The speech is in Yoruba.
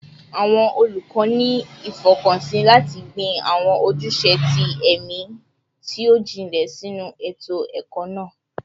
Awọn olukọ ni ifọkansi lati gbin awọn ojuse ti ẹmi ti o jinlẹ sinu eto-ẹkọ naa